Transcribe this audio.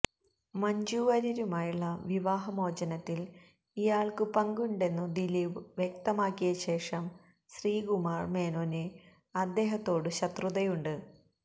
മഞ്ജു വാര്യരുമായുള്ള വിവാഹമോചനത്തിൽ ഇയാൾക്കു പങ്കുണ്ടെന്നു ദിലീപ് വ്യക്തമാക്കിയ ശേഷം ശ്രീകുമാർ മേനോന് അദ്ദേഹത്തോടു ശത്രുതയുണ്ട്